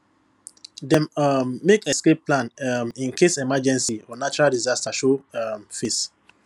dem um make escape plan um in case emergency or natural disaster show um face